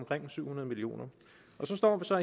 så